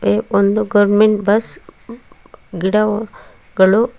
A ಒಂದು government bus ಗಿಡವು ಗಳು--